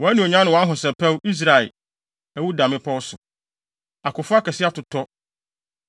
“Wʼanuonyam ne wʼahosɛpɛw, Israel, awu da mmepɔw so! Akofo akɛse atotɔ!